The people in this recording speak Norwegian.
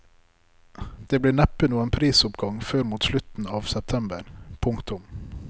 Det blir neppe noen prisoppgang før mot slutten av september. punktum